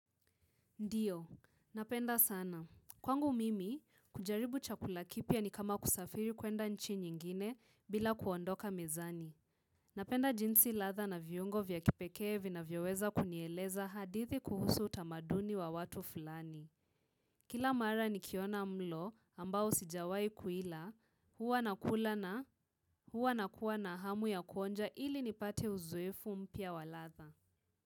Ndiyo, napenda sana. Kwangu mimi, kujaribu chakula kipya ni kama kusafiri kuenda nchi nyingine bila kuondoka mezani. Napenda jinsi ladha na viungo vya kipekee vina vyoweza kunieleza hadithi kuhusu utamaduni wa watu fulani. Kila mara nikiona mlo ambao sijawahi kuila huwa nakula na huwa nakua na hamu ya kuonja ili nipate uzoefu mpya wa ladha.